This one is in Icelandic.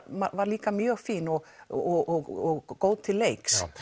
var líka mjög fín og og góð til leiks